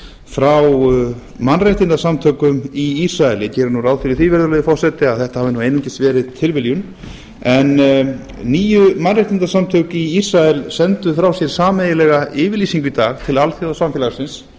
frá mannréttindasamtökum í ísrael ég geri nú ráð fyrir því virðulegi forseti að þetta hafi nú einungis verið tilviljun en níu mannréttindasamtök í ísrael sendu frá sér sameiginlega yfirlýsingu í dag til alþjóðasamfélagsins